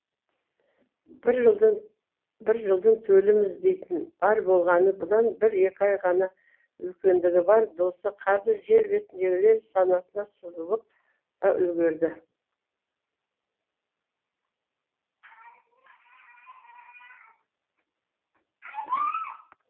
бір жылдың төліміз дейтін бар болғаны бұдан бір екі ай ғана үлкендігі бар досы қазір жер бетіндегілер санатынан сызылып та үлгерді